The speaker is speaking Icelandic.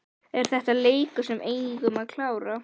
Er þetta leikur sem við eigum að klára?